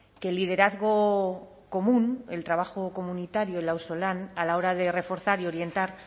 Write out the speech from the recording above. que el liderazgo común el trabajo comunitario el auzolan a la hora de reforzar y orientar